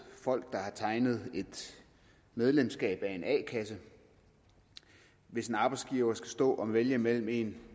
folk der har tegnet et medlemskab af en a kasse hvis en arbejdsgiver skal stå og vælge mellem en